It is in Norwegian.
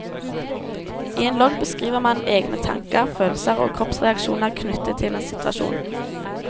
I en logg beskriver man egne tanker, følelser og kroppsreaksjoner knyttet til en situasjon.